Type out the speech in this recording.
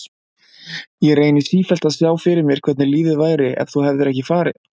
Ég reyni sífellt að sjá fyrir mér hvernig lífið væri ef þú hefðir ekki farið.